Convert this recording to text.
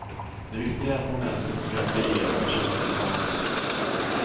Det viktiga är att få med sig fotografier och personliga saker.